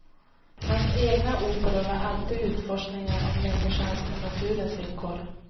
Hans egna operor var alltid utforskningar av människans och naturens villkor.